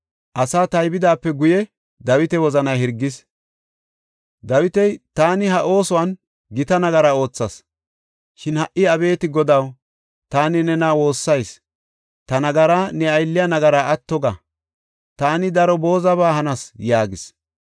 Asaa taybidaape guye, Dawita wozanay hirgin, Dawiti, “Taani ha oosuwan gita nagara oothas. Shin ha77i abeeti Godaw, taani nena woossayis; ta nagaraa, ne aylliya nagaraa atto ga. Taani daro boozaba hanas” yaagis.